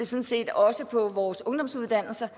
set også på vores ungdomsuddannelser